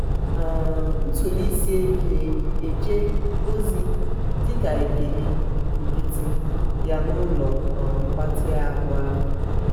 um ntụli isi elu na-eje ozi dị ka ekele nkịtị ya n'ụlọ um mgbatị um ahụ.